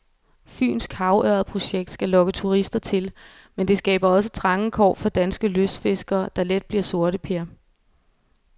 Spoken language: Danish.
Fynsk havørredprojekt skal lokke turister til, men det skaber også trange kår for danske lystfiskere, der let bliver sorteper.